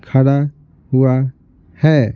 खड़ा हुआ है।